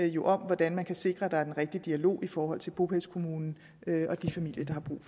jo om hvordan man kan sikre at der er den rigtige dialog i forhold til bopælskommunen og de familier der